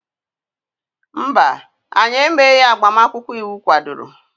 mba, anyị emeghị agbamakwụkwọ iwu kwadoro